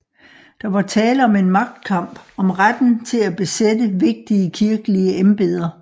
Der var tale om en magtkamp om retten til at besætte vigtige kirkelige embeder